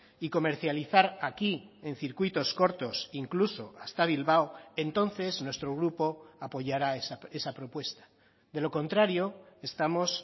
y comercializar aquí en circuitos cortos incluso hasta bilbao entonces nuestro grupo apoyará esa propuesta de lo contrario estamos